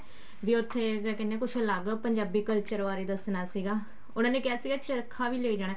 ਵੀ ਉੱਥੇ ਕਿਆ ਕਹਿਨੇ ਹਾਂ ਅਲੱਗ ਪੰਜਾਬੀ culture ਬਾਰੇ ਦੱਸਣਾ ਸੀਗਾ ਉਹਨਾ ਨੇ ਕਿਹਾ ਸੀਗਾ ਚਰਖਾ ਵੀ ਲੈ ਜਾਣਾ